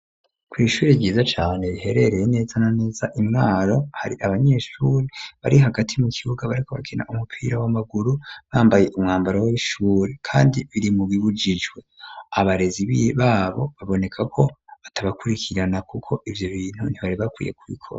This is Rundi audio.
Kw'ishuri ryiza cane, riherereye neza na neza i Mwaro, hari abanyeshuri bari hagati mu kibuga bariko bakina umupira w'amaguru, bambaye umwambaro w'ishuri kandi biri mu bibujijwe; abarezi babo baboneka ko batabakurikirana, kuko ivyo bintu ntibari bakwiye kubikora.